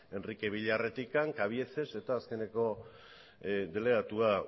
enrique villarretik cabieces eta azkeneko delegatua